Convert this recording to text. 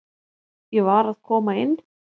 Ég var að koma inn